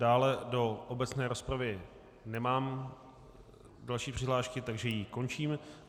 Dále do obecné rozpravy nemám další přihlášky, takže ji končím.